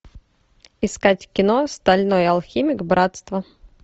искать кино стальной алхимик братство